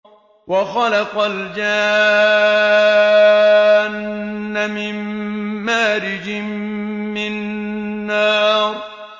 وَخَلَقَ الْجَانَّ مِن مَّارِجٍ مِّن نَّارٍ